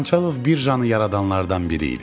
Xançalov birjanı yaradanlardan biri idi.